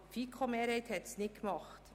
Aber die FiKo-Mehrheit hat dies nicht getan.